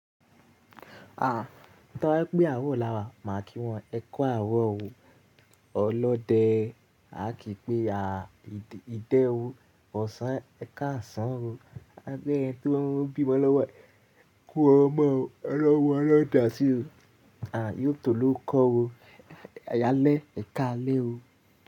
Ah, to bá je pé àro láwa, máa kí wọn ẹ ku àro ooo ọlọ́dẹ. A kì í pé à ìdẹ́wó ọ̀sán, ẹ káàsán o. A gbẹ́ ẹni tí wọ́n ń bímọ lọ́wọ́, ẹ kú ọmọ ọ̀wọ̀ alọ́ǹda sí o. Àì yóò tó ló kọ́ ro. Ayálẹ́, ẹ káalẹ́ o.